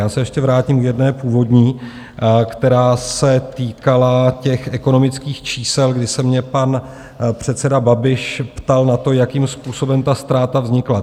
Já se ještě vrátím k jedné původní, která se týkala těch ekonomických čísel, kdy se mě pan předseda Babiš ptal na to, jakým způsobem ta ztráta vznikla.